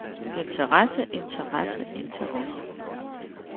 interesse interesse interesse